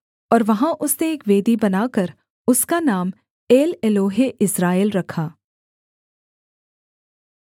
और वहाँ उसने एक वेदी बनाकर उसका नाम एलएलोहेइस्राएल रखा